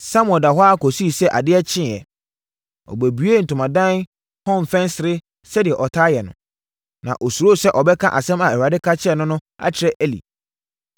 Samuel daa hɔ ara kɔsii sɛ adeɛ kyeeɛ. Ɔbuebuee ntomadan hɔ mfɛnsere sɛdeɛ ɔtaa yɛ no. Na ɔsuro sɛ ɔbɛka asɛm a Awurade ka kyerɛɛ no no akyerɛ Eli.